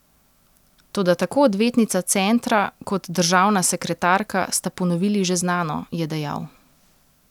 Toda tako odvetnica centra kot državna sekretarka sta ponovili že znano, je dejal.